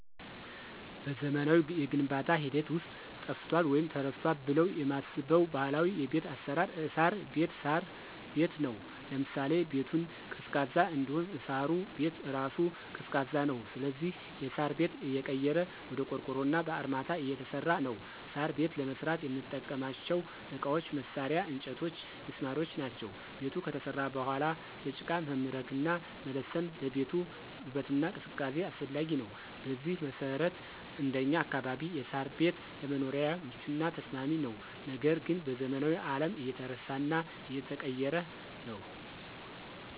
በዘመናዊው የግንባታ ሂደት ውስጥ ጠፍቷል ወይም ተረስቷል ብለው የማስበው ባህላዊ የቤት አሰራር እሳር ቤት(ሳር ቤት) ነው። ለምሳሌ -ቤቱን ቀዝቃዛ እንዲሆን እሳሩ ቤት እራሱ ቀዝቃዛ ነው ስለዚህ የሳር ቤት እየቀረ ወደ ቆርቆሮና በአርማታ እየተሰራ ነው። ሳር ቤት ለመስራት የምንጠቀምባቸው እቃዎች፣ መሳርያ፣ እንጨቶችና ሚስማሮች ናቸው። ቤቱ ከተሰራ በኋላ በጭቃ መምረግና መለሰን ለቤቱ ውበትና ቅዝቃዜ አስፈላጊ ነው። በዚህ መሰረት እንደኛ አካባቢ የሳር ቤት ለመኖሪያም ምቹና ተስማሚ ነው ነገር ግን በዘመናዊው አለም እየተረሳና እየቀረ ነው።